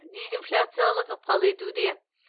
дезинфляциялық ықпал етуде